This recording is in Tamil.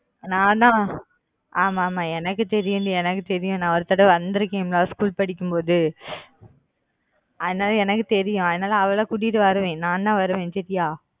நானா ஆமா ஆமா எனக்கு தெரியும் டி எனக்கு தெரியும் நான் ஒரு தடவ வந்துருக்கண் school படிக்கும்போது அதனால எனக்கு தெரியும் அதனால அவளை கூட்டிட்டு வருவேன் நான் தான் வருவேன் சரியா